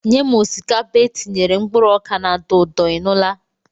Nye m osikapa etinyere mkpụrụ oka na-atọ ụtọ, ị nụla?